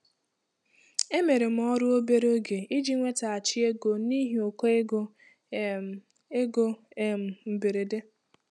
Emere m ọrụ obere oge iji nwetaghachi ego n'ihi ụkọ ego um ego um mberede.